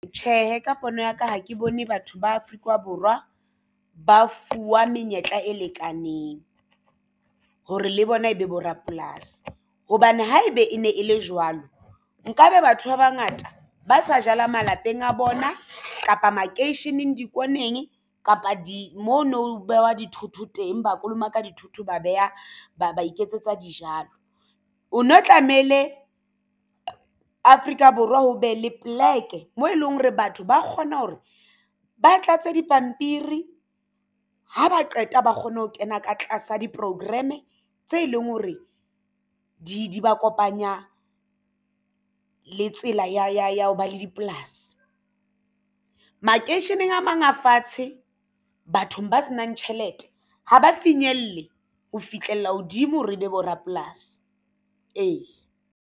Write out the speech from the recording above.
Tjhehe, ka pono ya ka ha ke bone batho ba Afrika Borwa ba fuwa menyetla e lekaneng hore le bona e be bo rapolasi hobane ha ebe e ne e le jwalo nka be batho ba bangata ba sa jala malapeng a bona kapa makeisheneng di-corner-eng kapa di mo no behwa dithoto teng ba kolomaka dithuto ba beha ba ba iketsetsa dijalo. Ho no tlameile Afrika Borwa ho be le poleke mo e leng hore batho ba kgona hore ba tlatse dipampiri ha ba qeta ba kgone ho kena ka tlasa di-program-e tse leng hore di ba kopanya le tsela ya ho ba le dipolasi. Makeisheneng a mang a fatshe bathong ba se nang tjhelete ha ba finyelle ho fihlella hodimo hore ebe bo rapolasi ee.